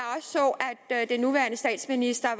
er at den nuværende statsminister